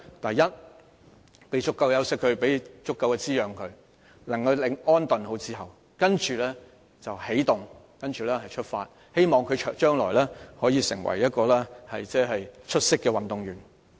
第一，讓他有足夠休息和滋養，好好安頓後再起動和出發，希望他將來可以成為一名出色的運動員。